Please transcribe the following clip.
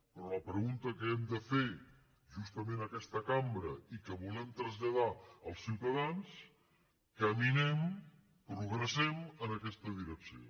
però la pregunta que hem de fer justament a aquesta cambra i que volem traslladar als ciutadans caminem progressem en aquesta direcció